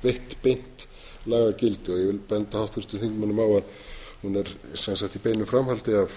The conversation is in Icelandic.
veitt beint lagagildi ég vil benda háttvirtum þingmönnum á að hún er í beinu framhaldi af